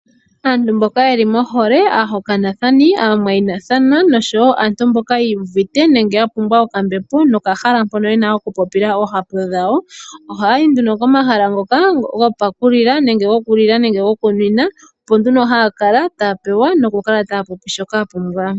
Aantu mboka yeli mohole aahokanithani, aamwayinathana noshowo aantu mboka yiiyuvite nenge ya pumbwa okambepo nokahala mpono yena oku popila oohapu dhawo, ohaya yi nduno komahala ngoka gopakulila nenge gokunwina opo nduno haya kala noku popya nduno shoka ya pumbwa.